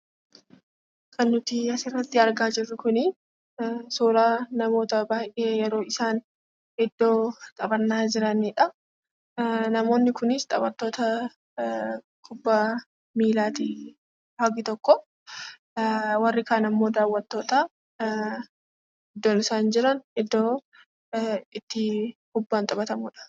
Kan nuti asirraatti argaa jirru Kuni suuraa namoota baayyee yeroo isaan iddoo taphanna jiranidha. Namoonni Kunis taphatoota kubba millati hangi tokko, warri kan ammoo dawwatoota, iddoon isaan jiran iddoo itti kubbaan taphatamudha.